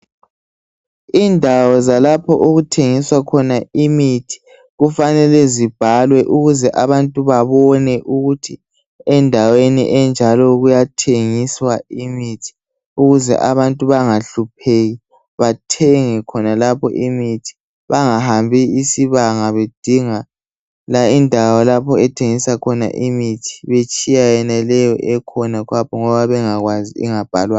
Indawo zalapho okuthengiswa khona imithi kufanele zibhalwe ukuze abantu babone ukuthi endaweni enjalo kuyathengiswa imithi ukuze abantu bangahlupheki bathenge khonalapho imithi. Bangahambi isibanga bedinga indawo ethengisa umithi betshiya yona leyo ekhona khonapho ngoba bengakwazi ingabhalwanga.